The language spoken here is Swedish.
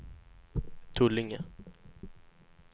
Tullinge